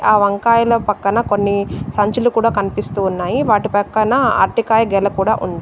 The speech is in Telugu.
ఆ వంకాయల పక్కన కొన్ని సంచులు కూడా కనిపిస్తూ ఉన్నాయి. వాటి పక్కన అరటికాయ గెల కూడా ఉంది.